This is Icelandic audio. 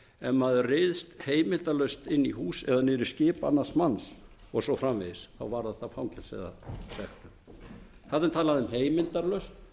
ef maður ryðst heimildarlaust inn í hús eða niður í skip annars manns og svo framvegis varðar það fangelsi eða sektum þarna er talað um heimildarlaust